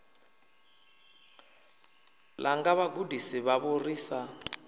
langa vhagudisi vhavho ri sa